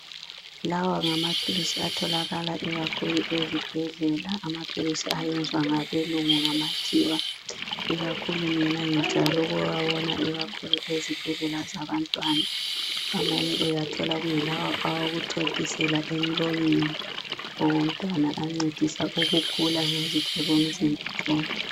Lawa ngamaphilisi atholakala ikakhulu ezibhedlela. Amaphilisi ayenziwa ngabelungu, ngamakhiwa. Ikakhulu mina ngijayele ukuwabona ikakhulu ezibhedlela zabantwana. Amanye uwathola, ingawokuthontisela ikakhulu emlonyeni. Abantwana abancedisa ikakhulu ekukhuleni kwezitho zomzimba zonke.